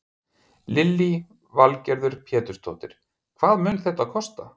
Lillý Valgerður Pétursdóttir: Hvað mun þetta kosta?